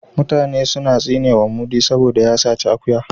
Mutane suna tsinewa mudi saboda ya saci akuya